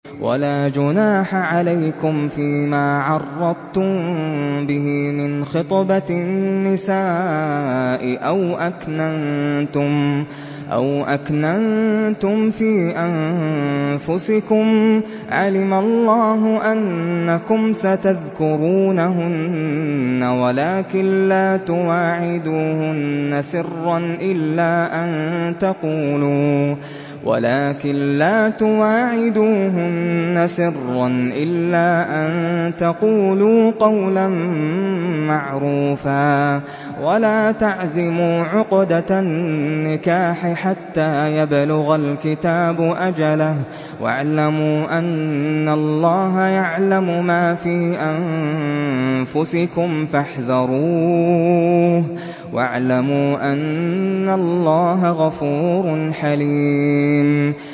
وَلَا جُنَاحَ عَلَيْكُمْ فِيمَا عَرَّضْتُم بِهِ مِنْ خِطْبَةِ النِّسَاءِ أَوْ أَكْنَنتُمْ فِي أَنفُسِكُمْ ۚ عَلِمَ اللَّهُ أَنَّكُمْ سَتَذْكُرُونَهُنَّ وَلَٰكِن لَّا تُوَاعِدُوهُنَّ سِرًّا إِلَّا أَن تَقُولُوا قَوْلًا مَّعْرُوفًا ۚ وَلَا تَعْزِمُوا عُقْدَةَ النِّكَاحِ حَتَّىٰ يَبْلُغَ الْكِتَابُ أَجَلَهُ ۚ وَاعْلَمُوا أَنَّ اللَّهَ يَعْلَمُ مَا فِي أَنفُسِكُمْ فَاحْذَرُوهُ ۚ وَاعْلَمُوا أَنَّ اللَّهَ غَفُورٌ حَلِيمٌ